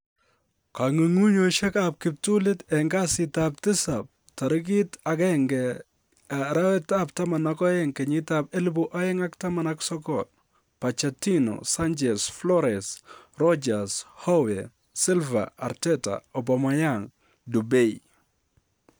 Kong'ung'unyosiek ab kiptulit en kasitab tisap 01/12/2019: Pochettino, Sanchez, Flores, Rodgers, Howe, Silva, Arteta, Aubameyang, Dupay